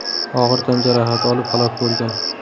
og‘ir tan jarohati olib halok bo‘lgan.